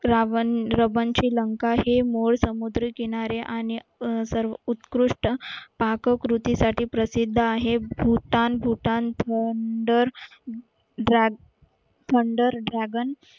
हे समुद्रकिनारी आणि सर्व उत्कृष्ट पाककृतीसाठी प्रसिद्ध आहेत भूतान भूतान